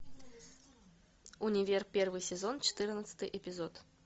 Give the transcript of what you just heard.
универ первый сезон четырнадцатый эпизод